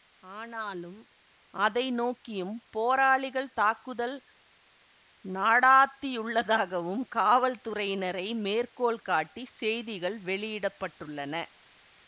ஆனாலும் அதை நோக்கியும் போராளிகள் தாக்குதல் நடாத்தியுள்ளதாகவும் காவல்துறையினரை மேற்கோள் காட்டி செய்திகள் வெளியிட பட்டுள்ளன